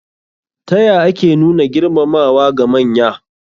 Ta ya ake nuna girmamawa ga manya?